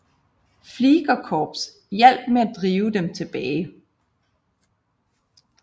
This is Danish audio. Fliegerkorps hjalp med til at drive dem tilbage